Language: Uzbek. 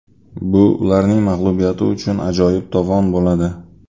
Bu ularning mag‘lubiyati uchun ajoyib tovon bo‘ladi”.